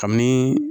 Kabini